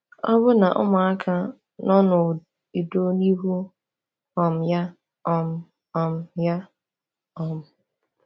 Ọbụna ụmụaka nọ n’udo n’ihu um ya. um um ya. um